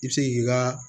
I bɛ se ki ka